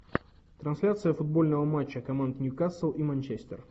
трансляция футбольного матча команд нью касл и манчестер